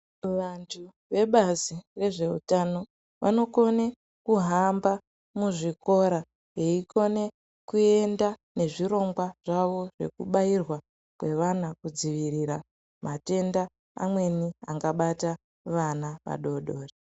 Vantu vebazi rezveutano , vanokone kuhamba muzvikora, veikone kuenda nezvirongwa zvavo zvekubairwa kwevana ,kudzivirira matenda amweni angabata vana vadodori.